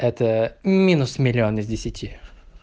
это минус миллион из десяти